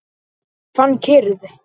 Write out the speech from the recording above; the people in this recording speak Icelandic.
Ég fann kyrrð.